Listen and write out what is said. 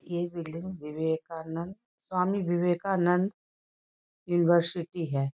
ये building Vivekananda Swami Vivekananda university है।